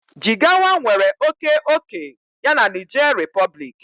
Jigawa nwere oke ókè ya na Niger Republic